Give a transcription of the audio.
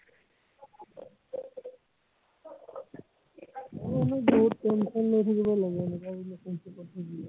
আহ মোৰ বহুত tension লৈ থাকিব লাগে এনেকুৱা বোলে relationship ত ভুগিলে